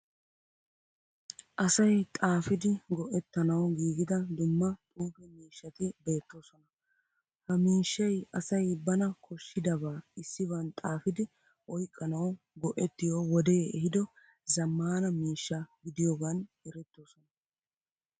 Asay xaafidi go'ettanawu giigida dumma xuufe miishshati beettoosona. Ha miishshayi asay bana koshshidabaa issiban xaafidi oyiqqanawu go'ettiyo wodee ehiido zaammaana miishsha gidiyogan erettoosona.